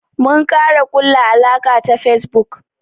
Mun kara kulla alaka ta Facebook.